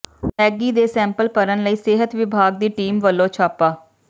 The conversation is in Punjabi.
ਮੈਗੀ ਦੇ ਸੈਂਪਲ ਭਰਨ ਲਈ ਸਿਹਤ ਵਿਭਾਗ ਦੀ ਟੀਮ ਵੱਲੋਂ ਛਾਪਾ